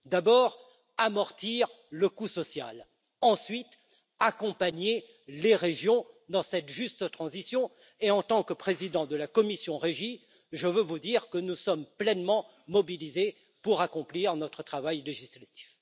D'abord, amortir le coût social, ensuite accompagner les régions dans cette juste transition et en tant que président de la commission du développement régional, je veux vous dire que nous sommes pleinement mobilisés pour accomplir notre travail législatif.